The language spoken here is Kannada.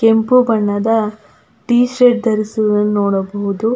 ಕೆಂಪು ಬಣ್ಣದ ಟೀ ಶರ್ಟ್ ಧರಿಸುವುದನ್ನು ನೋಡಬಹುದು.